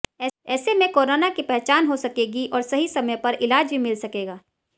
ऐसे में कोरोना की पहचान हो सकेगी और सही समय पर इलाज भी मिल सकेगा